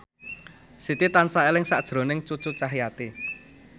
Siti tansah eling sakjroning Cucu Cahyati